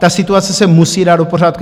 Ta situace se musí dát do pořádku.